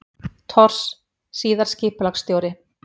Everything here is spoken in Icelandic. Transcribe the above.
Thors, síðar skipulagsstjóri.